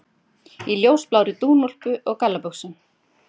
Í ljósblárri dúnúlpu og gallabuxum.